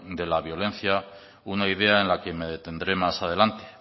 de la violencia una idea en la que me detendré más adelante